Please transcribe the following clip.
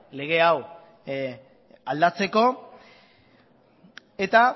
lege hau aldatzeko eta